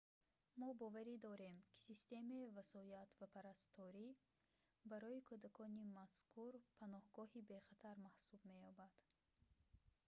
мо боварӣ дорем ки системаи васоят ва парасторӣ барои кӯдакони мазкур паноҳгоҳи бехатар маҳсуб меёбад